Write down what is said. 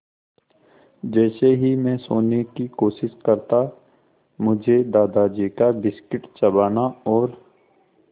जैसे ही मैं सोने की कोशिश करता मुझे दादाजी का बिस्कुट चबाना और